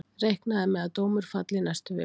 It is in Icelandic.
Reiknað er með að dómur falli í næstu viku.